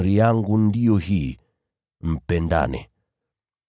Amri yangu ndiyo hii: Mpendane.